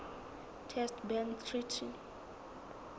test ban treaty